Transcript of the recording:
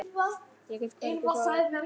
Ég get hvergi sofið.